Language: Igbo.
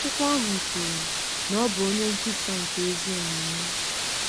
Akụkọ ahụ kwuru na ọ bụ “onye nkwusa nke ezi omume.”